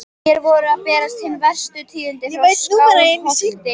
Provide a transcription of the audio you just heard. Mér voru að berast hin verstu tíðindi frá Skálholti.